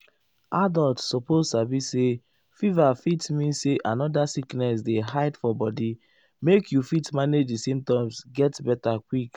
adults suppose sabi say fever fit mean say another sickness dey hide for body make you fit manage di symptoms get beta quick.